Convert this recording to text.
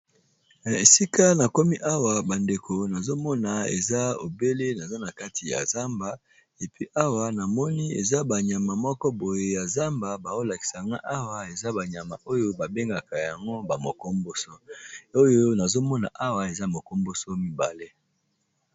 Na esika na komi awa bandeko nazomona eza obele naza na kati ya zamba epi awa na moni eza ba nyama moko boye ya zamba bao lakisanga awa eza ba nyama oyo ba bengaka yango ba mokomboso oyo nazomona awa eza mokomboso mibale.